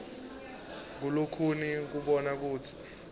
kulikhuni kubona kutsi